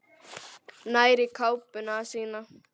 Nær í kápuna sína.